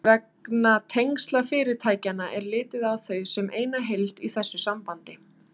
Vegna tengsla fyrirtækjanna er litið á þau sem eina heild í þessu sambandi.